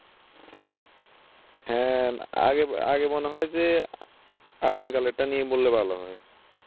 হ্যাঁ আগে আগে মনে হয় যে আদিম কাল এর টা নিয়ে বললে ভালো হয়